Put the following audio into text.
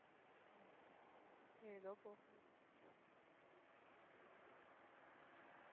ஏதோ போகுது